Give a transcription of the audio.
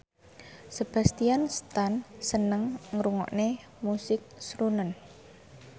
Sebastian Stan seneng ngrungokne musik srunen